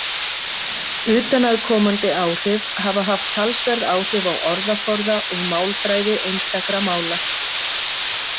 Utanaðkomandi áhrif hafa haft talsverð áhrif á orðaforða og málfræði einstakra mála.